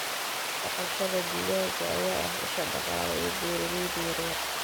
Dhaqashada digaaga ayaa ah isha dhaqaale ee beeralayda yaryar.